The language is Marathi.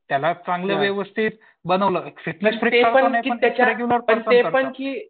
त्याला चांगलं व्यवस्थित बनवलं फिटनेस